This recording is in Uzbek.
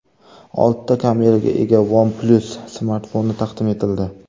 Oltita kameraga ega OnePlus smartfoni taqdim etildi.